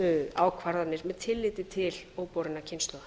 ákvarðanir með tilliti til óborinna kynslóða